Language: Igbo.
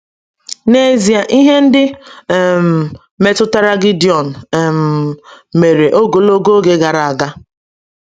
N’ezie, ihe ndị um metụtara Gideon um mere ogologo oge gara aga.